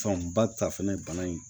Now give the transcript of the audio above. Fanba ta fɛnɛ bana in